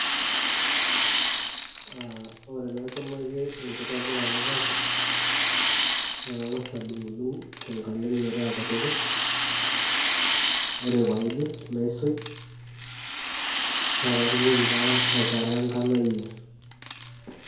ore enaikunaki enkitobirata e kapish naa kang'as adung dung' tenkalem, metaa kutitik, ore pee aidip naisuj. paa katumoki taa aikaraanka nayier.